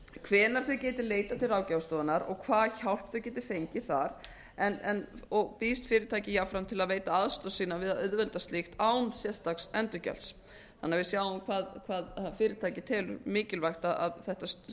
hvenær þau geti leitað til ráðgjafarstofunnar og hvaða hjálp þau geti fengið þar og býðst fyrirtækið jafnframt til að veita aðstoð sína við að auðvelda slíkt án sérstaks endurgjalds þannig að við sjáum hvað fyrirtækið telur mikilvægt að þetta